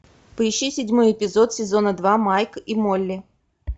поищи седьмой эпизод сезона два майк и молли